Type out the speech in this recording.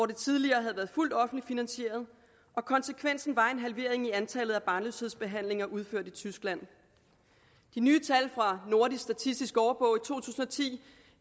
tidligere havde været fuldt offentligt finansieret og konsekvensen var en halvering af antallet af barnløshedsbehandlinger udført i tyskland de nye tal fra nordisk statistisk årbog i to tusind og ti